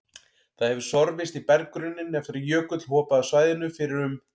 Það hefur sorfist í berggrunninn eftir að jökull hopaði af svæðinu fyrir um